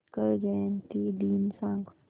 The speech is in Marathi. आंबेडकर जयंती दिन सांग